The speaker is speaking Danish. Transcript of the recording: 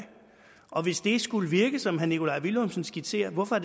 og hvis det skulle virke som herre nikolaj villumsen skitserer hvorfor